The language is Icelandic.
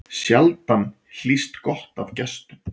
Sjaldan hlýst gott af gestum.